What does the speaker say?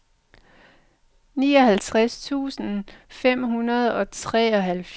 nioghalvtreds tusind fem hundrede og treoghalvfjerds